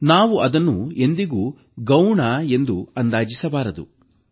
ನಾವು ಅದನ್ನು ಎಂದಿಗೂ ಗೌಣ ಎಂದು ಅಂದಾಜಿಸಬಾರದು